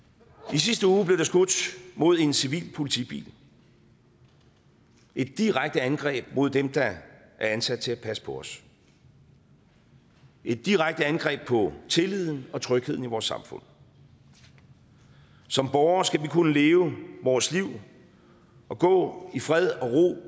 i sidste uge blev der skudt mod en civil politibil et direkte angreb mod dem der er ansat til at passe på os et direkte angreb på tilliden og trygheden i vores samfund som borgere skal vi kunne leve vores liv og gå i fred og